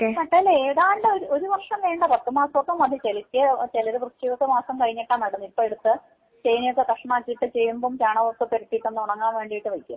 ഇപ്പൊ നട്ടാല് ഏതാണ്ട് ഒര് ഒരു വർഷം വേണ്ട പത്ത് മാസോക്കെ മതി ചെലത് വൃശ്ചിക മാസം കഴിഞ്ഞിട്ടാ നടുന്നേ ഇപ്പൊ എടുത്ത് ചേനയോക്കെ കഷ്ണാക്കിയിട്ട് ചേമ്പും ചാണകോക്കെ പുരട്ടിയിട്ട് ഒന്ന് ഉണങ്ങാൻ വേണ്ടീട്ട് വയ്ക്കും.